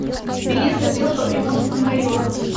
билет отдел по приморскому району